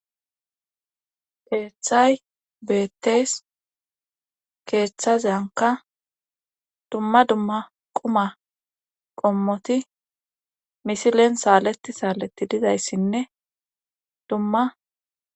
Keeththay beettees keeththazeyanka dumma dumma quma qommoti misilen saaleti saaleti dizayssinne dumma.